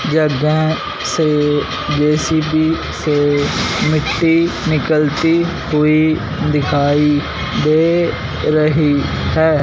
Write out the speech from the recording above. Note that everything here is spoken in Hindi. जगह से जे_सी_बी से मिट्टी निकलती हुई दिखाई दे रही है।